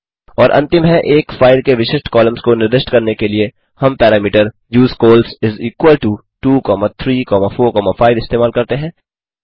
और अंतिम है एक फाइल के विशिष्ट कॉलम्स को निर्दिष्ट करने के लिए हम parameter use cols is equal to 2345 इस्तेमाल करते हैं